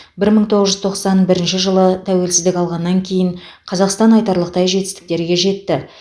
бір мың тоғыз жүз тоқсан бірінші жылы тәуелсіздік алғаннан кейін қазақстан айтарлықтай жетістіктерге жетті